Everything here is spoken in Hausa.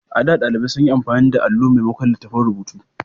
A da, ɗalibai sun yi amfani da alo maimakon littattafan rubutu.